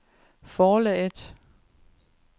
forlaget